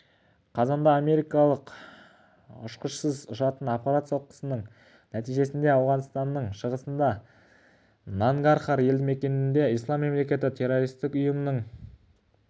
қазанда америкалық ұшқышсыз ұшатын аппарат соққысының нәтижесінде ауғанстанның шығысындағы нангархар едімекенінде ислам мемлекеті террористік ұйымының екі